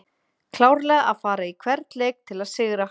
Klárlega að fara í hvern leik til að sigra!